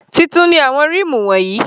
Titun ni àwọn ríìmù wọ̀nyí.